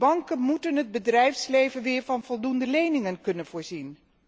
Banken moeten het bedrijfsleven weer van voldoende leningen kunnen voorzien.